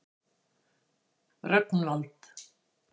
Rögnvald